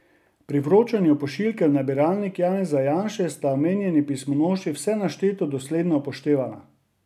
Pri vročanju pošiljke v nabiralnik Janeza Janše sta omenjeni pismonoši vse našteto dosledno upoštevala.